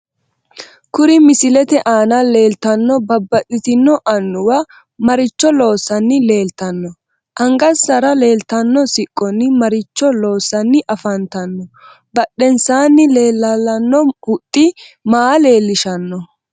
Kuri misilete aana leeltanno babbaxito annuwa maricho loosani leeltanno anagansa leeltano siqqonni maricho loosani afantanno badhenesaani leelalanno huxxi maa leelishanno